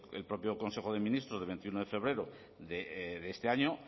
el propio consejo de ministros de veintiuno de febrero de este año